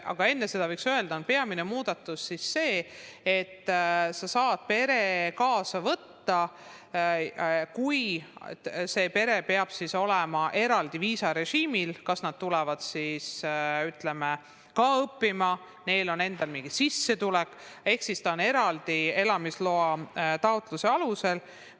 Aga enne seda, võiks öelda, on peamine muudatus see, et sa saad pere kaasa võtta, kuid see pere peab olema eraldi viisarežiimil – kas nad tulevad samuti õppima või on neil endal mingi sissetulek – ehk nad on siin eraldi elamisloa taotluse alusel.